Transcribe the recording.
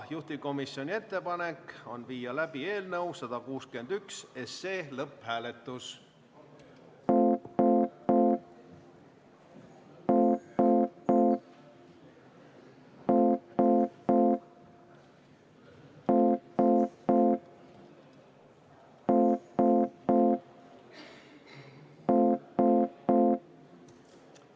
Juhtivkomisjoni ettepanek on viia läbi eelnõu 161 lõpphääletus.